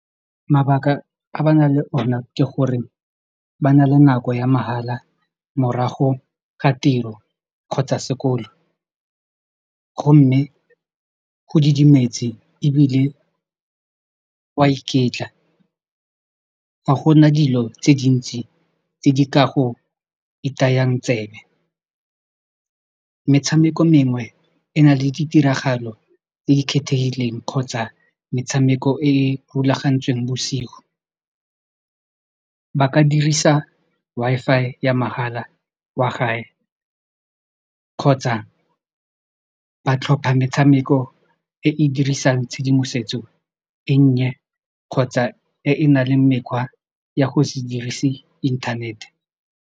Mabaka a ba na leng ona ke gore ba na le nako ya mahala morago ga tiro kgotsa sekolo gomme go didimetse ebile wa iketla ga gona dilo tse dintsi tse di ka go itayang tsebe metshameko mengwe e na le ditiragalo tse di kgethegileng kgotsa metshameko e e rulagantsweng bosigo ba ka dirisa Wi-Fi ya mahala kwa gae kgotsa ba tlhopha metshameko e e dirisang tshedimosetso e nnye kgotsa e nang le mekgwa ya go se dirise inthanete.